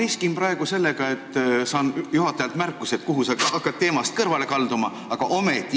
Ma riskin praegu sellega, et saan juhatajalt märkuse teemast kõrvalekaldumise eest.